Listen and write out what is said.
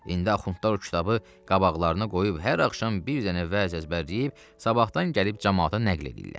İndi axundlar o kitabı qabaqlarına qoyub hər axşam bir dənə vəz əzbərləyib, sabahdan gəlib camaata nəql eləyirlər.